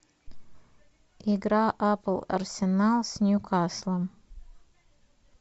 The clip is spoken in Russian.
игра апл арсенал с ньюкаслом